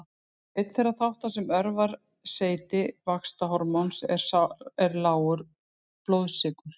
Einn þeirra þátta sem örvar seyti vaxtarhormóns er lágur blóðsykur.